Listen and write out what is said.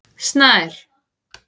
Snær